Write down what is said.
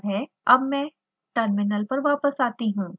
अब मैं टर्मिनल पर वापस आती हूँ